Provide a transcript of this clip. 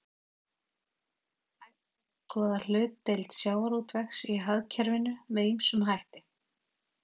Hægt er að skoða hlutdeild sjávarútvegs í hagkerfinu með ýmsum hætti.